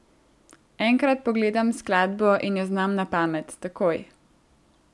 Enkrat pogledam skladbo in jo znam na pamet, takoj.